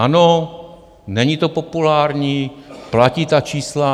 Ano, není to populární, platí ta čísla.